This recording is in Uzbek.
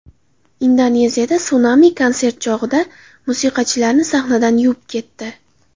Indoneziyada sunami konsert chog‘ida musiqachilarni sahnadan yuvib ketdi .